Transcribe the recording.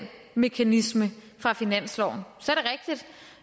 mekanisme fra finansloven så